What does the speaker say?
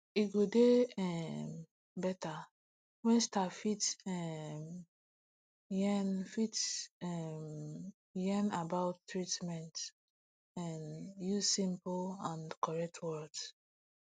e go dey um beta wen staff fit um yarn fit um yarn about treatment um use simple and correct words